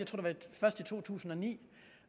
to tusind og ni